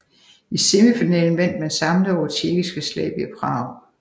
I semifinalen vandt man samlet over tjekkiske Slavia Prag